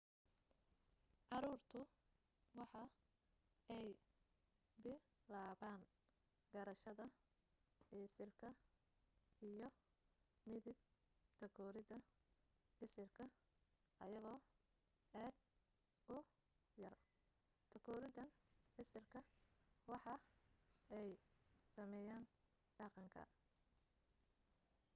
caruurtu waxa ay bilaaban garashada isirka iyo midab takooridda isirka ayagoo aad u yar takooriddan isirka waxa ay saameyaan dhaqanka